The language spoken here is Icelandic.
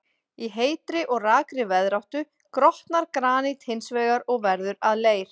Í heitri og rakri veðráttu grotnar granít hins vegar og verður að leir.